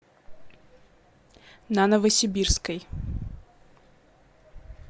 на новосибирской